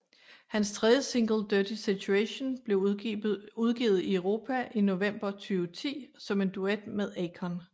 Hans tredje single Dirty Situation blev udgivet i Europa i november 2010 som en duet med Akon